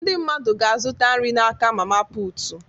Ndị mmadụ ga-azụta nri n'aka mama putu